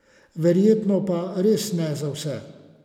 Verjetno pa res ne za vse.